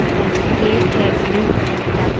और गेट है blue colour का।